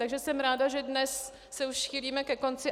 Takže jsem ráda, že dnes se už chýlíme ke konci.